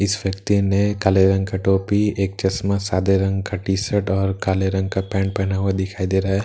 इस व्‍यक्ति ने काले रंग का टोपी एक चश्‍मा सादे रंग का टी_शर्ट और काले रंग का पेंट पहना हुआ दिखाई दे रहा है ।